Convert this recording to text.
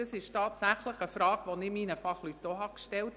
Ihre Frage habe ich tatsächlich meinen Fachleuten auch gestellt.